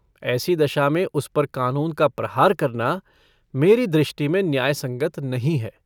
ऐसी दशा में उस पर कानून का प्रहार करना मेरी दृष्टि में न्यायसंगत नहीं है।